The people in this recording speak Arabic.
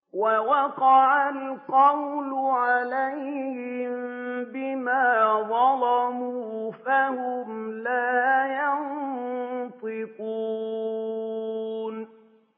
وَوَقَعَ الْقَوْلُ عَلَيْهِم بِمَا ظَلَمُوا فَهُمْ لَا يَنطِقُونَ